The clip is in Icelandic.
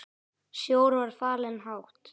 Sjór var fallinn hátt.